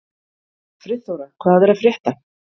Friðþóra, hvað er að frétta?